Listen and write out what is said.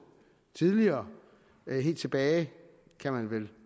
tidligere helt tilbage kan man vel